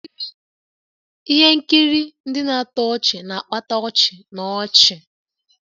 Ihe nkiri ndị na-atọ ọchị na-akpata ọchị na ọchị